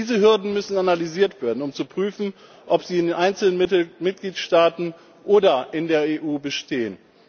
Diese Hürden müssen analysiert werden, um zu prüfen, ob sie in den einzelnen Mitgliedstaaten oder in der EU bestehen.